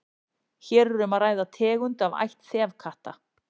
hér er um að ræða tegund af ætt þefkatta